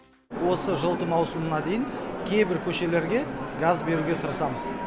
осы жылыту маусымына дейін кейбір көшелерге газ беруге тырысамыз